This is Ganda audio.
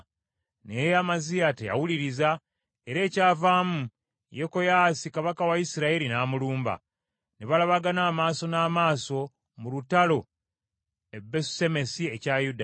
Naye Amaziya teyawuliriza, era ekyavaamu Yekoyaasi kabaka wa Isirayiri n’amulumba. Ne balabagana amaaso n’amaaso mu lutalo e Besusemesi ekya Yuda.